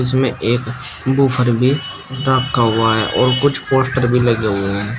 इसमें एक बूफ़र भी रखा हुआ है और कुछ पोस्टर भी लगे हुए हैं।